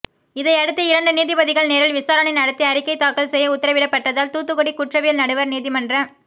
இதையடுத்து இரண்டு நீதிபதிகள் நேரில் விசாரணை நடத்தி அறிக்கை தாக்கல் செய்ய உத்தரவிடப்பட்டதால் தூத்துக்குடி குற்றவியல் நடுவர் நீதிமன்ற